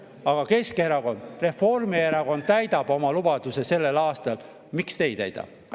Aga Keskerakond, kui Reformierakond täidab oma lubaduse sellel aastal, miks siis teie ei täida?